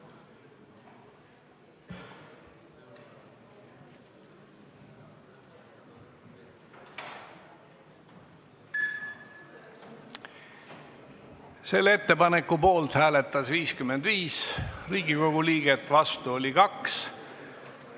Hääletustulemused Selle ettepaneku poolt hääletas 55 Riigikogu liiget, vastu oli 2.